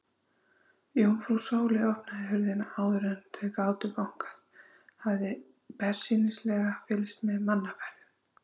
Jómfrú Sóley opnaði hurðina áður en þau gátu bankað, hafði bersýnilega fylgst með mannaferðum.